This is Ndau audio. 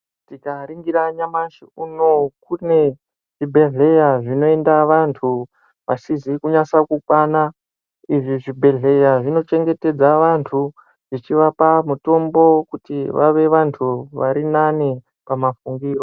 Tikaringira nyamashi unoo kune zvibhehleya zvinoenda vantu vasizi kunyatsa kukwana. Izvi zvibhehleya zvinochengetedza vantu vachivapa mutombo kuti vave vantu varinani pamafungiro.